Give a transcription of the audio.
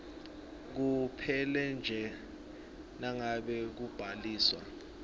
kuphelanje nangabe kubhaliswa